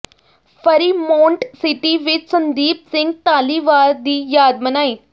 Fremont city ਵਿਚ ਸੰਦੀਪ ਸਿੰਘ ਧਾਲੀਵਾਲ ਦੀ ਯਾਦ ਮਨਾਈ